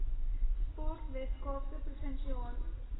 sport weskaapse provinsiale